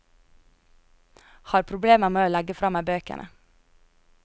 Har problemer med å legge fra meg bøkene.